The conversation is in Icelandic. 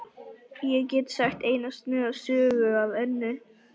Ég get sagt eina sniðuga sögu af Önnu.